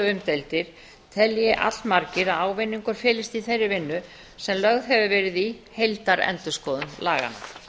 umdeildir allmargir að ávinningur felist í þeirri vinnu sem lögð hefur verið í heildarendurskoðun laganna